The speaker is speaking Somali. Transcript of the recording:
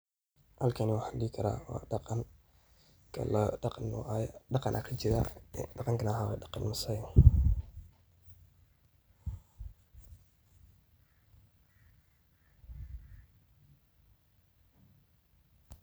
Halkani waxaan dihikaraa waa daqan kala daqan aa kajiraa daqankaas oo ah daqan Masaai.